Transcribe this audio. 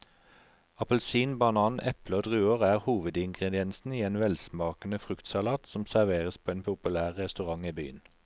Appelsin, banan, eple og druer er hovedingredienser i en velsmakende fruktsalat som serveres på en populær restaurant i byen.